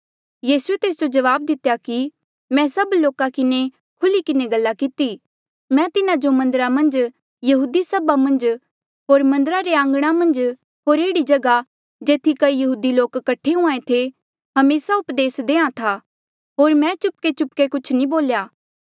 यीसूए तेस जो जवाब दितेया कि मैं सभ लोका किन्हें खुल्ही किन्हें गल्ला किती मैं तिन्हा जो मन्दरा मन्झ यहूदी सभा मन्झ होर मन्दरा रे आंघणा मन्झ होर एह्ड़ी जगहा जेथी कई यहूदी लोक कठे हुंहां ऐें थे हमेसा उपदेस देयां था होर मैं चुपकेचुपके कुछ नी बोल्या